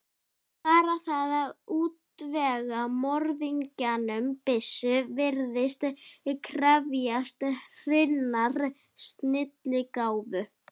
Bara það að útvega morðingjanum byssu virðist krefjast hreinnar snilligáfu.